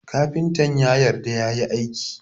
Kafintan ya yarda yayi aikin